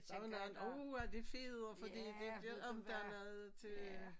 Der vel nogen uha det feder fordi de ikke ved om der noget til øh